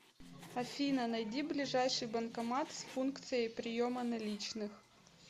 афина найди ближайший банкомат с функцией приема наличных